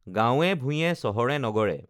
গাঁৱে ভূঁঞে চহৰে নগৰে